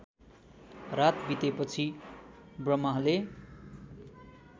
रात बितेपछि ब्रह्माले